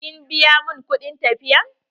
Kin biya min kuɗin tafiya?